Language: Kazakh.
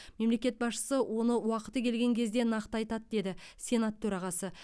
мемлекет басшысы оны уақыты келген кезде нақты айтады деді сенат төрағасы